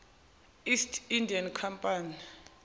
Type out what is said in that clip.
east india company